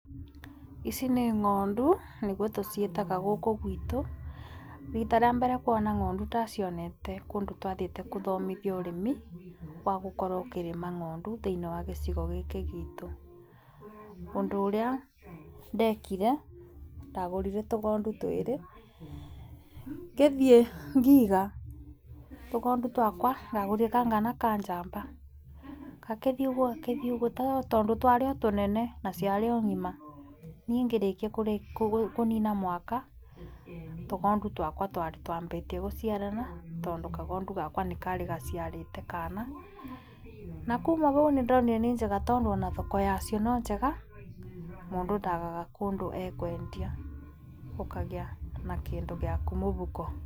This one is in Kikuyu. Ici nĩ ngondu nĩguo tũciĩtaga gũkũ gwitũ, rita rĩa mbere kũona ngondu ndacionete kũndũ twathiete kũthomithuo ũrĩmi wa gũkorwo ũkĩrĩma ngondu thĩinĩ wa gĩcigo gĩkĩ gitũ. Ũndũ ũrĩa ndekire, ndagũrire tũgondu twĩrĩ, ngĩthiĩ ngiga, tũgondũ twakwa ndagũrire kanga na ka njamba, gakĩthi ũguo, gakĩthi ũguo, tondũ twarĩ o tũnene na ciarĩ o ngima niĩ ngĩrĩkia kũnina mwaka tũgondu twakwa twarĩ twambĩtie gũciarana tondũ kagondũ gakwa nĩ karĩ gaciarĩte kana, na kuma hau nĩ ndonire nĩ njega tondũ ona thoko yacio nĩ njega mũndũ ndagaga kũndũ ekwendia ũkagĩa na kĩndũ gĩaku mũhuko.